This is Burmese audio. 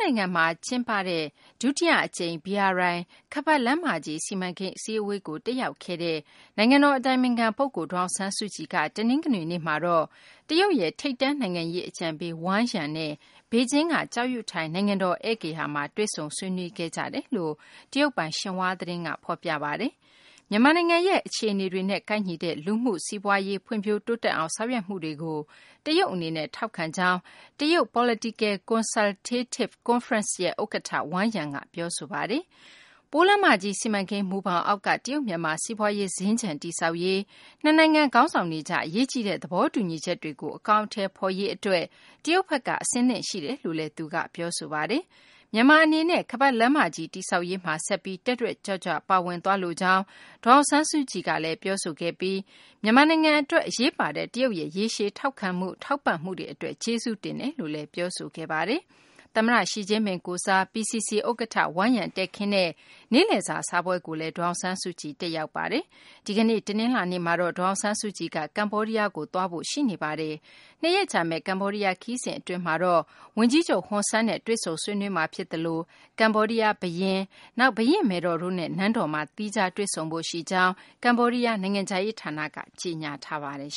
နိုင်ငံမှာ ကျင်းပတဲ့ ဒုတိယ အကြိမ် BRI ခါးပတ်လမ်းမကြီး စီမံကိန်း အစည်းအဝေးကို တက်ရောက်နေတဲ့ နိုင်ငံတော် အတိုင်ပင်ခံ ပုဂ္ဂိုလ် ဒေါ်အောင်ဆန်းစုကြည်က တနင်္ဂနွေနေ့မှာတော့ တရုတ်ရဲ့ ထိပ်တန်း နိုင်ငံရေး အကြံပေး Wang Yang နဲ့ ဘေဂျင်းက ကျောက်ယုထိုင် နိုင်ငံတော် ဧည့်ဂေဟာမှာ တွေ့ဆုံဆွေးနွေးခဲ့ကြကြောင်း တရုတ်ပိုင် ရှင်ဟွာသတင်းက ဖော်ပြပါတယ်။ မြန်မာနိုင်ငံရဲ့ အခြေအနေတွေနဲ့ ကိုက်ညီတဲ့ လူမှုရေး စီးပွားရေး ဖွံ့ဖြိုးတိုးတက်အောင် ဆောင်ရွက်မှုတွေကို တရုတ် အနေနဲ့ ထောက်ခံကြောင်း တရုတ် Political Consultative Conference ရဲ့ ဥက္ကဌ Wang Yang က ပြောဆိုပါတယ်။ ပိုးလမ်းမကြီး စီမံကိန်း မူဘောင်အောက်က တရုတ် မြန်မာ စီးပွားရေး စင်္ကြ ံတည်ဆောက်ရေး၊ နှစ်နိုင်ငံ ခေါင်းဆောင်တွေကြား အရေးကြီးတဲ့ သဘောတူညီချက်တွေကို အကောင်အထည်ဖော်ရေး အတွက် တရုတ်ဘက်က အဆင်သင့်ရှိကြောင်းလည်း ပြောဆိုခဲ့ပါတယ်။ မြန်မာ အနေနဲ့လည်း ခါးပတ်လမ်းမကြီး တည်ဆောက်ရေးမှာ ဆက်ပြီး တက်တက်ကြွကြွ ပါဝင်သွားလိုကြောင်း ဒေါ်အောင်ဆန်းစုကြည်က ပြောဆိုပြီး မြန်မာနိုင်ငံ အတွက် အရေးပါတဲ့ တရုတ်ရဲ့ ရေရှည် ထောက်ခံမှု ထောက်ပံ့မှုတွေ အတွက် ကျေးဇူးတင်ကြောင်းလည်း ပြောဆိုခဲ့ပါတယ်။ သမ္မတ ရှီကျင်းပင် ကိုယ်စား PCC ဥက္ကဌ Wang Yang တည်ခင်းတဲ့ နေ့လည်စာ စားပွဲကိုလည်း ဒေါ်အောင်ဆန်းစုကြည် တက်ရောက်ခဲ့ပါတယ်။ ဒီကနေ့ တနလာၤနေ့မှာတော့ ဒေါ်အောင်ဆန်းစုကြည်က ကမ္ဘောဒီးယားကို သွားဖို့ ရှိနေပါတယ်။ ၂ ရက်ကြာမယ့် ကမ္ဘောဒီးယား ခရီးစဉ် အတွင်းမှာတော့ ဝန်ကြီးချုပ် ဟွန်ဆန်နဲ့ တွေ့ဆုံမှာ ဖြစ်သလို ကမ္ဘောဒီးယား ဘုရင် Norodom Sihamoni၊ နောက် ဘုရင့်မယ်တော် တို့နဲ့ နန်းတော်မှာ သီးခြားတွေ့ဆုံဖို့ ရှိကြောင်း ကမ္ဘောဒီးယား နိုင်ငံခြားရေး ဌာနက ကြေညာထားပါတယ်